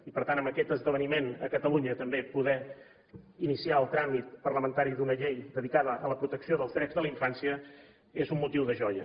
i per tant amb aquest esdeveniment a catalunya també poder iniciar el tràmit parlamentari d’una llei dedicada a la protecció dels drets de la infància és un motiu de joia